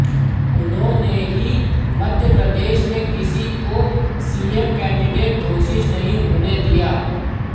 उन्होंने ही मध्यप्रदेश में किसी को सीएम कैंडिडेट घोषित नहीं होने दिया